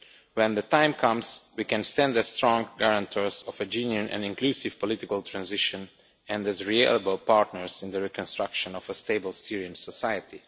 when the time comes we can stand as strong guarantors of a genuinely inclusive political transition, and as reliable partners in the reconstruction of a stable Syrian society.